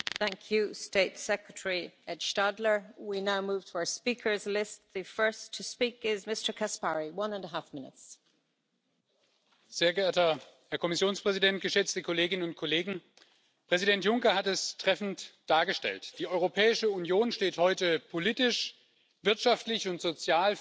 Frau Präsidentin, sehr geehrter Herr Kommissionspräsident, geschätzte Kolleginnen und Kollegen! Präsident Juncker hat es treffend dargestellt Die Europäische Union steht heute politisch, wirtschaftlich und sozial viel, viel besser da, als das von vielen Menschen wahrgenommen wird.